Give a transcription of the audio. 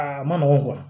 Aa ma nɔgɔn